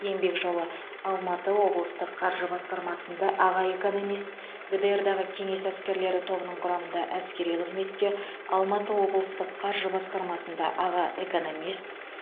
еңбек жолы алматы облыстық қаржы басқармасында аға экономист гдр дағы кеңес әскерлері тобының құрамында әскери қызметте алматы облыстық қаржы басқармасында аға экономист